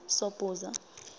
sobhuza